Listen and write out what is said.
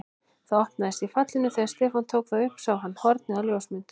Það opnaðist í fallinu og þegar Stefán tók það upp sá hann hornið á ljósmynd.